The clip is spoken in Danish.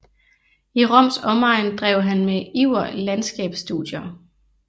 I Roms omegn drev han med iver landskabsstudier